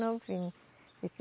Novinho. Esse